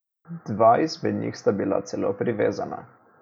Dva izmed njih sta bila celo privezana.